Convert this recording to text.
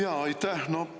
Jaa, aitäh!